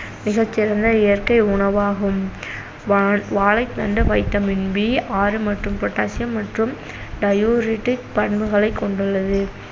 மிகச்சிறந்த இயற்கை உணவாகும் வான்~ வாழைத்தண்டு vitamin B ஆறு மற்றும் potassium மற்றும் diuretic பண்புகளைக் கொண்டுள்ளது